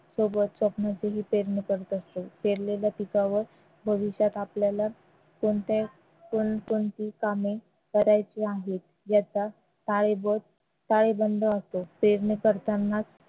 सोबत पेरणी करत असतो पेरलेल्या पिकावर भविष्यात आपल्याला कोणती कोणकोणती कामे करायची आहेत याचा असतो पेरणी करताना